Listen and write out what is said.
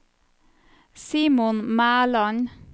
Simon Mæland